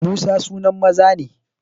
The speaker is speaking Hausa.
Musa sunan maza ne